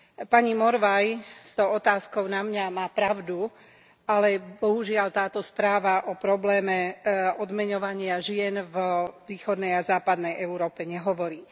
Pani Morway s tou otázkou na mňa má pravdu, ale, bohužiaľ, táto správa o probléme odmeňovania žien vo východnej a západnej Európe nehovorí.